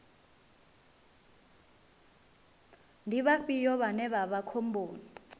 ndi vhafhio vhane vha vha khomboni